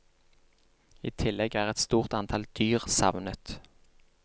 I tillegg er et stort antall dyr savnet.